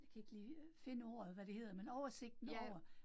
Jeg kan ikke lige finde ordet, hvad det hedder, men oversigten over